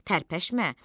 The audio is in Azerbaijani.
Tərpəşmə.